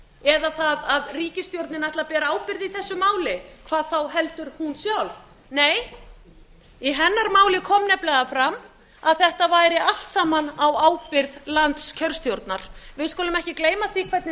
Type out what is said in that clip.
eða það að ríkisstjórnin ætli að bara ábyrgð í þessu máli hvað þá heldur hún sjálf nei í hennar máli kom nefnilega fram að þetta væri allt saman á ábyrgð landskjörstjórnar við skulum ekki gleyma því hvernig